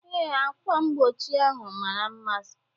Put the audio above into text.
Ee, ákwà mgbochi ahụ mara mma.